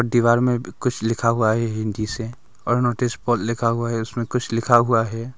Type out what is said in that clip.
दीवार में भी कुछ लिखा हुआ है हिंदी से और नोटिस पर लिखा हुआ है उसमें कुछ लिखा हुआ है।